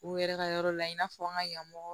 U yɛrɛ ka yɔrɔ la i n'a fɔ an ka yanmɔgɔw